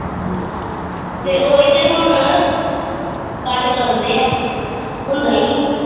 ਤੇ ਓਹੀ ਤੇ ਹੁਣ ਘੱਟ ਕਰਨ ਡਏ ਆ ਹੁੰਦਾ ਈ ਨੀ